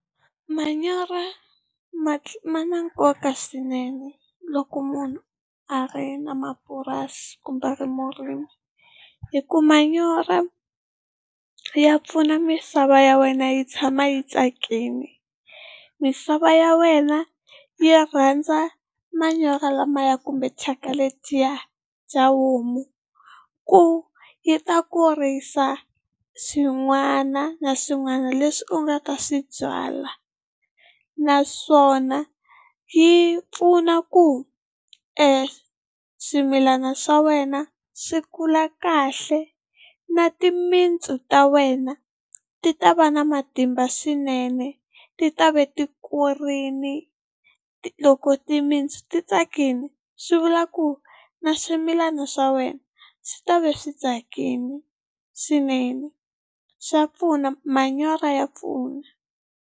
Manyoro ma ma na nkoka swinene loko munhu a ri na mapurasi kumbe a ri murimi, hi ku manyoro ya pfuna misava ya wena yi tshama yi tsakile. Misava ya wena yi rhandza manyoro lamaya kumbe thyaka letiya bya homu ku yi ta kurisa swin'wana na swin'wana leswi u nga ta swi byala, naswona yi pfuna ku e swimilana swa wena swi kula kahle na timintsu ta wena ti ta va na matimba swinene ti ta ve ti kurile. Loko timintsu ti tsakile swi vula ku na swimilana swa wena swi ta va swi tsakile swinene, swa pfuna manyoro ya pfuna.